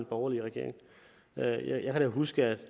borgerlige regering jeg jeg kan huske at